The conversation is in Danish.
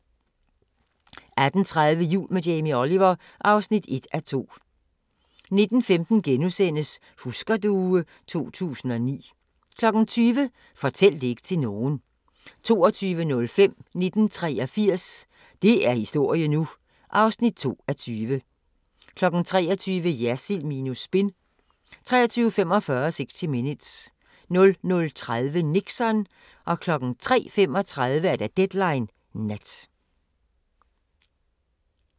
18:30: Jul med Jamie Oliver (1:2) 19:15: Husker du ... 2009 * 20:00: Fortæl det ikke til nogen 22:05: 1983 – det er historie nu! (2:20) 23:00: Jersild minus spin 23:45: 60 Minutes 00:30: Nixon 03:35: Deadline Nat